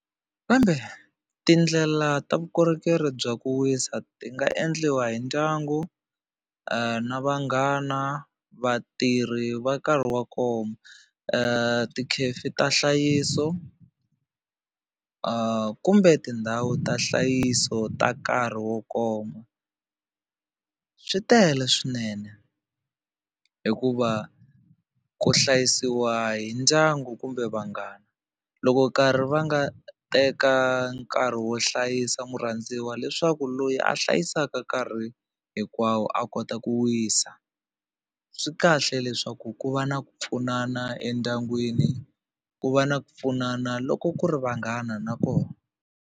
Kambe tindlela ta vukorhokeri bya ku wisa ti nga endliwa hi ndyangu na vanghana vatirhi va nkarhi wa ti tikhefi ta nhlayiso ku kumbe tindhawu ta nhlayiso ta nkarhi wo koma swi tele swinene hikuva ku hlayisiwa hi ndyangu kumbe vanghana loko nkarhi va nga teka nkarhi wo hlayisa murhandziwa leswaku loyi a hlayisaka nkarhi hinkwawo a kota ku wisa swi kahle leswaku ku va na ku pfunana endyangwini ku va na ku pfunana loko ku ri vanghana na kona.